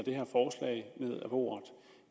bordet